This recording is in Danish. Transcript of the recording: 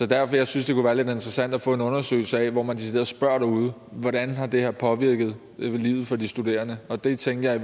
derfor jeg synes det kunne være lidt interessant at få en undersøgelse af det hvor man decideret spørger derude hvordan det her har påvirket livet for de studerende og det tænkte jeg